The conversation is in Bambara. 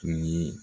Tun ye